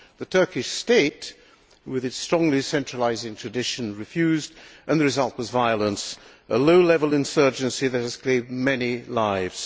The Turkish state, with its strongly centralising tradition, refused, and the result was violence a low level insurgency that has claimed many lives.